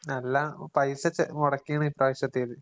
നല്ല പൈസ ചെ മൊടക്കിയേണ് ഇപ്പ്രാവശ്യത്തേത്.